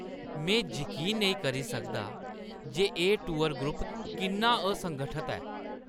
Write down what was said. में जकीन नेईं करी सकदा जे एह् टूर ग्रुप किन्ना असंगठत ऐ।